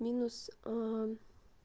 минус а а